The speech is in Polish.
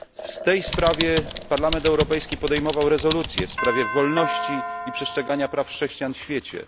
W tej sprawie Parlament Europejski podejmował rezolucje, w sprawie wolności i przestrzegania praw chrześcijan w świecie.